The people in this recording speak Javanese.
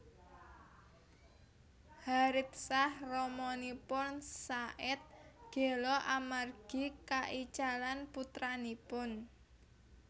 Haritsah ramanipun Zaid gela amargi kaicalan putranipun